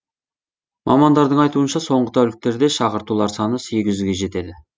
мамандардың айтуынша соңғы тәуліктерде шақыртулар саны сегіз жүзге жетеді